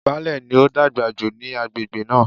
Baálẹ̀ ni ó dàgbà jù ní agbègbè náà.